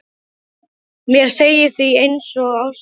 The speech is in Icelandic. Mér segir því orð einsog ástæða ekkert.